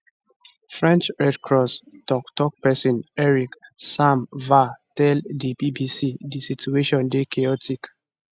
french red cross toktok pesin eric sam vah tell di bbc di situation dey chaotic